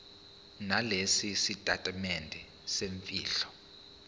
nalesi sitatimende semfihlo